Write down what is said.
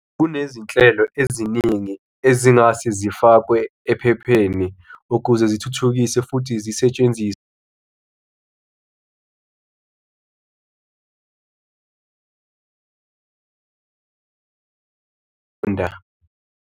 Kunezinhlelo eziningi ezingase zifakwe ephepheni ukuze zithuthukise futhi zisetshenziswe .